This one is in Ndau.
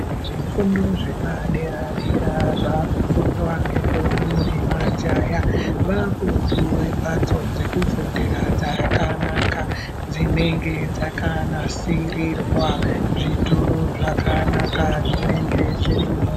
Zvifundo zvepadera-dera, zvakufundwa ngendombi nemajaha, vakupiwe mhatso dzekufundira dzakanaka, dzinenge dzakanasirirwa zvituru zvakanaka zvinenge zvirimwo.